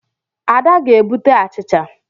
Ada ga-ebute achicha.